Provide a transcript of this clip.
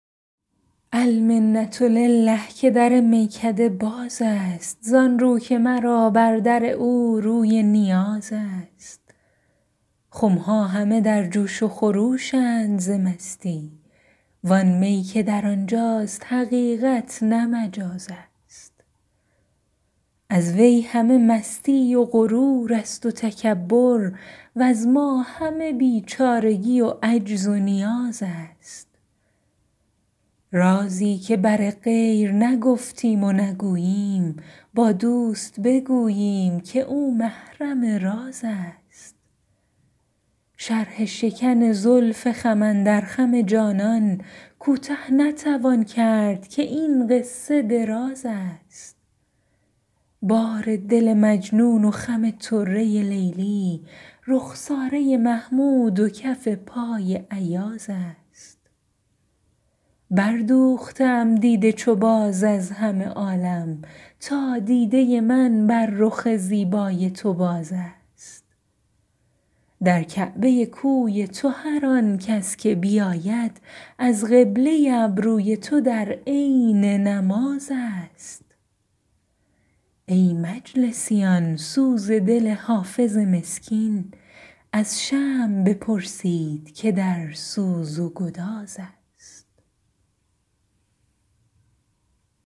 المنة لله که در میکده باز است زان رو که مرا بر در او روی نیاز است خم ها همه در جوش و خروش اند ز مستی وان می که در آن جاست حقیقت نه مجاز است از وی همه مستی و غرور است و تکبر وز ما همه بیچارگی و عجز و نیاز است رازی که بر غیر نگفتیم و نگوییم با دوست بگوییم که او محرم راز است شرح شکن زلف خم اندر خم جانان کوته نتوان کرد که این قصه دراز است بار دل مجنون و خم طره لیلی رخساره محمود و کف پای ایاز است بردوخته ام دیده چو باز از همه عالم تا دیده من بر رخ زیبای تو باز است در کعبه کوی تو هر آن کس که بیاید از قبله ابروی تو در عین نماز است ای مجلسیان سوز دل حافظ مسکین از شمع بپرسید که در سوز و گداز است